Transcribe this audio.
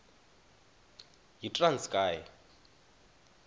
yitranskayi